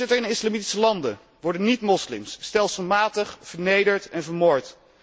In islamitische landen worden niet moslims stelselmatig vernederd en vermoord.